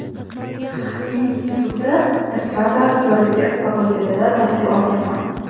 Institutda Estrada aktyorligi fakultetida tahsil olganman.